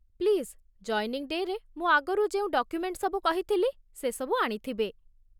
Please joining ଡେ'ରେ ମୁଁ ଆଗରୁ ଯେଉଁ ଡକ୍ୟୁମେଣ୍ଟ୍ ସବୁ କହିଥିଲି ସେସବୁ ଆଣିଥିବେ ।